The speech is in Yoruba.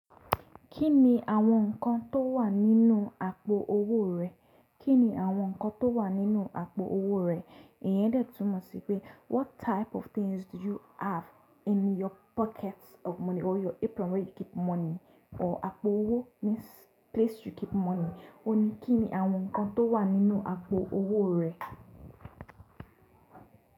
Kí ni àwọn nǹkan tó wà nínú àpò owó rẹ? Kí ni àwọn nǹkan tó wà nínú àpò owó rẹ? Ìyẹn dẹ̀ tún mọ̀ sí pé what type of things do you have in your pockets of money or your apron where you keep money? Or àpò owó means place you keep money. Ó ní kí ni àwọn nǹkan tó wà nínú àpò owó rẹ?